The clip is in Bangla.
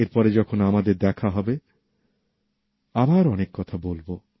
এর পরে যখন আমাদের দেখা হবে আবার অনেক কথা বলবো